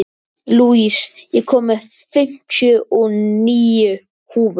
Louise, ég kom með fimmtíu og níu húfur!